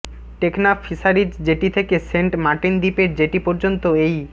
Teknaf fisheries jetty থেকে Saint Martin দ্বীপের jetty পর্যন্ত এই